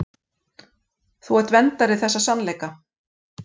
Þú ert verndari þessa sannleika.